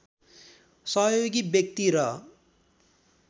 सहयोगी व्यक्ति र